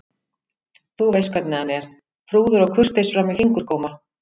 Þú veist hvernig hann er, prúður og kurteis fram í fingurgóma.